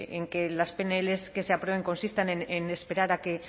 en que las pnl que se aprueben consistan en esperar